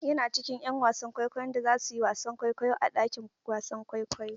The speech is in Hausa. Yana cikin 'yan wasan kwaikwayo da za su yi wasan kwaikwayo a ɗakin wasan kwaikwayo.